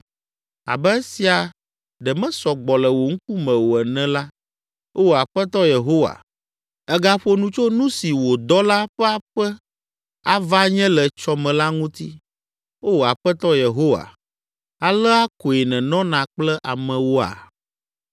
Abe esia ɖe mesɔ gbɔ le wò ŋkume o ene la, Oo Aƒetɔ Yehowa, ègaƒo nu tso nu si wò dɔla ƒe aƒe ava nye le etsɔ me la ŋuti. Oo Aƒetɔ Yehowa, alea koe nènɔna kple amewoa?